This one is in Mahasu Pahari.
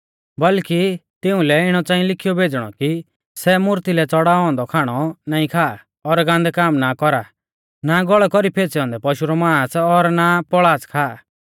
बल्कि तिऊं लै इणौ च़ांई लिखीयौ भेज़णौ कि सै मूर्ती लै च़ड़ाऔ औन्दौ खाणौ नाईं खा और गान्दै काम ना कौरा ना गौल़ै कौरी फैंच़ै औन्दै पशु रौ मांस और ना पौल़ाच़ खा